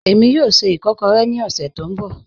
Ẹ̀mi yóò ṣẹ́ ìkọ̀kọ̀rẹ̀ ni ọ̀ṣẹ̀ tó nbọ̀